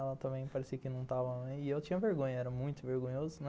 Ela também parecia que não estava... E eu tinha vergonha, era muito vergonhoso, né?